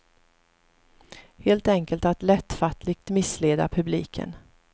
Helt enkelt att lättfattligt missleda publiken.